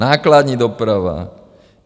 Nákladní doprava.